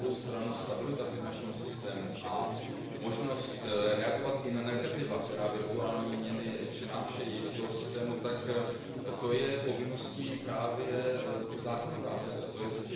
Na druhou stranu stabilita finančního systému a možnost reagovat i na negativa, která virtuální měny přinášejí do toho systému, tak to je povinností právě zákonodárce, tj.